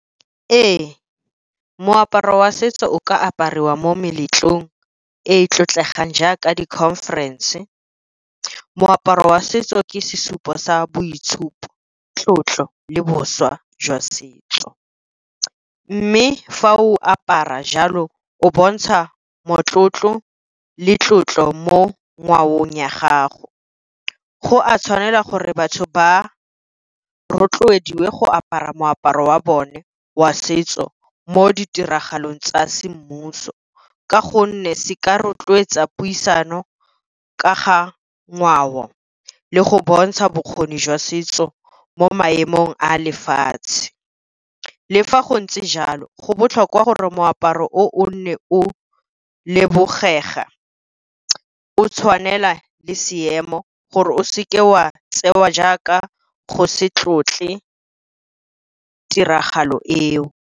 Ee, moaparo wa setso o ka apariwa mo meletlong e e tlotlegang jaaka di-conference. Moaparo wa setso ke sesupo sa boitshupo, tlotlo le boswa jwa setso. Mme fa o apara jalo o bontsha motlotlo le tlotlo mo ngwaong ya gago, go a tshwanela gore batho ba rotloediwe go apara moaparo wa bone wa setso mo ditiragalong tsa semmuso, ka gonne se ka rotloetsa puisano ka ga ngwao le go bontsha bokgoni jwa setso mo maemong a lefatshe. Le fa go ntse jalo go botlhokwa gore moaparo o o nne o o tshwanela le seemo gore o seke wa tseiwa jaaka go se tlotle tiragalo eo.